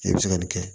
E bɛ se ka nin kɛ